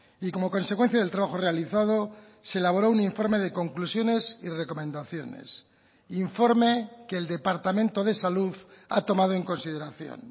y como consecuencia del trabajo realizado se elaboró un informe de conclusiones y recomendaciones informe que el departamento de salud ha tomado en consideración